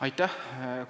Aitäh!